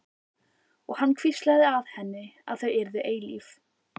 Og hann hvíslaði að henni að þau yrðu eilíf.